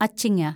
അച്ചിങ്ങ